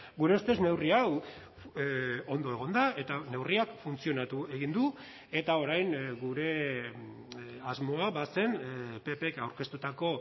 gure ustez neurri hau ondo egon da eta neurriak funtzionatu egin du eta orain gure asmoa bazen ppk aurkeztutako